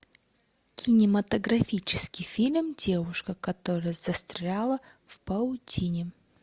кинематографический фильм девушка которая застряла в паутине